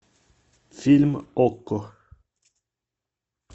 фильм окко